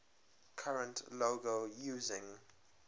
current logo using